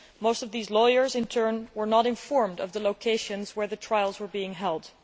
Most of these lawyers, in turn, were not informed of the locations where the trials were being held.